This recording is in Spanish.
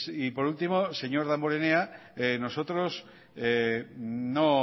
y por último señor damborenea nosotros no